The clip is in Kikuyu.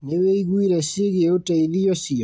Nĩwĩiguire ciĩgiĩ ũteithio ũcio?